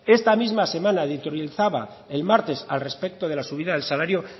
esta misma semana editorializaba el martes al respecto de la subida del salario